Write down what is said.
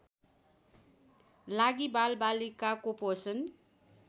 लागि बालबालिकाको पोषण